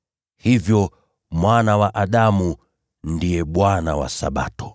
Hivyo, Mwana wa Adamu ndiye Bwana wa Sabato.”